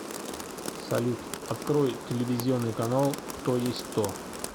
салют открой телевизионный канал кто есть кто